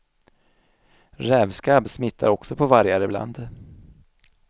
Rävskabb smittar också på vargar ibland.